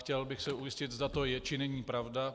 Chtěl bych se ujistit, zda to je, či není pravda.